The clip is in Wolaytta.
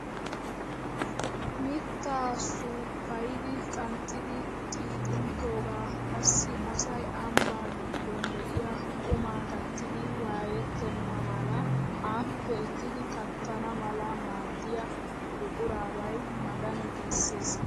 Mittaa suppayidi qanxxidi xiixinttoogaa qassi asay ambbaa giddon de'iyaa qumaa kattiidi wayettena mala appe ekkidi kattana mala maaddiyaa buqurabay magani giisses!